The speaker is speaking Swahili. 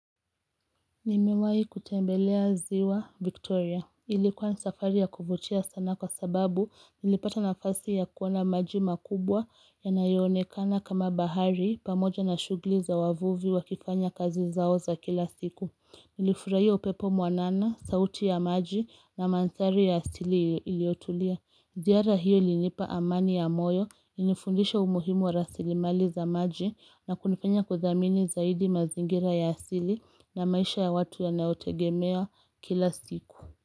Nimewahi kutembelea ziwa Victoria. Ilikuwa ni safari ya kuvutia sana kwa sababu nilipata nafasi ya kuona maji makubwa yanayoonekana kama bahari pamoja na shughuli za wavuvi wakifanya kazi zao za kila siku. Nilifurahia upepo mwanana, sauti ya maji na mandhari ya asili iliyotulia. Ziara hiyo ilinipa amani ya moyo, ilinifundisha umuhimu wa rasilimali za maji na kunifanya kuthamini zaidi mazingira ya asili na maisha ya watu yanaotegemea kila siku.